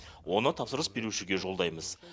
оны тапсырыс берушіге жолдаймыз